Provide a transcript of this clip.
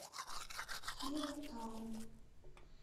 кира таун